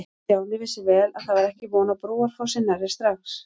Stjáni vissi vel að það var ekki von á Brúarfossi nærri strax.